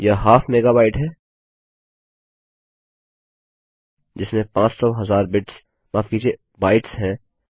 यह half megabyte है जिसमें पाँच सौ हजार बिट्स माफ कीजिए बाइट्स हैं